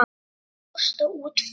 Hvað kostar útför?